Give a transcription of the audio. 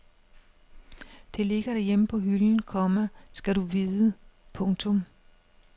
Det ligger derhjemme på hylden, komma skal du vide. punktum